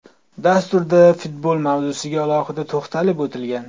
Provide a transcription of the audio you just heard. Dasturda futbol mavzusiga alohida to‘xtalib o‘tilgan.